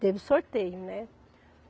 Teve sorteio, né?